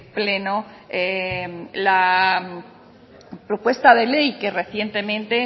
pleno la propuesta de ley que recientemente